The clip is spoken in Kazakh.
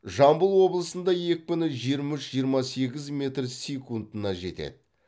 жамбыл облысында екпіні жиырма үш жиырма сегіз метр секундына жетеді